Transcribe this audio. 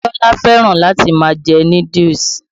Bíọ́lá fẹ́rán láti má a jẹ núdúùsù.